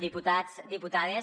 diputats diputades